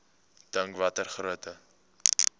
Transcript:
dink watter groot